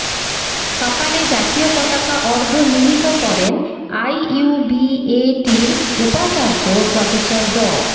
সকালে জাতীয় পতাকা অর্ধনিমিত করেন আইইউবিএটির উপাচার্য প্রফেসর ড